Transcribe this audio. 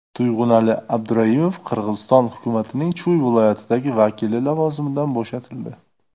Tuyg‘unali Abduraimov Qirg‘iziston hukumatining Chuy viloyatidagi vakili lavozimidan bo‘shatildi.